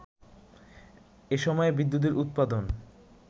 এসময়ে বিদ্যুতের উৎপাদন